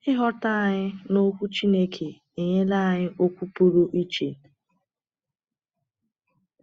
Ịghọta anyị n’Ọkwú Chineke enyela anyị okwu pụrụ iche.